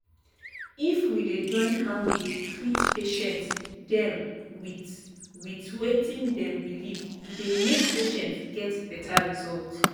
if we dey join how we dey treat patients dem with with wetin dem believe e dey make patient get beta result.